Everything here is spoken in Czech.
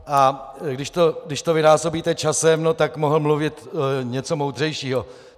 A když to vynásobíte časem, no tak mohl mluvit něco moudřejšího.